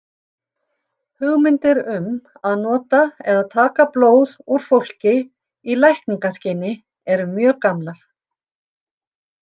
Hugmyndir um að nota eða taka blóð úr fólki í lækningaskyni eru mjög gamlar.